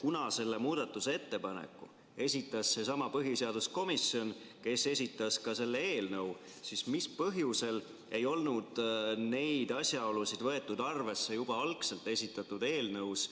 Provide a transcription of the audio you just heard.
kuna selle muudatusettepaneku esitas seesama põhiseaduskomisjon, kes esitas selle eelnõu, siis mis põhjusel ei olnud neid asjaolusid arvesse võetud juba algselt esitatud eelnõus?